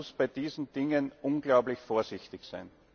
Man muss bei diesen Dingen unglaublich vorsichtig sein.